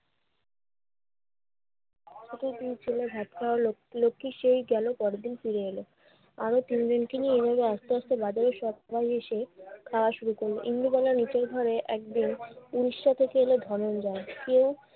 কতদিন ছিল ভাত খাওয়ার লোক~ লোকটি সেই গেল পরদিন ফিরে এলো আরো তিনজনকে নিয়ে। এভাবে আস্তে আস্তে বাজারে সব্বাই এসে খাওয়া শুরু করল। ইন্দুবালা নিজের ঘরে একদিন উড়িষ্যা থেকে এল ধনঞ্জয়। কেউ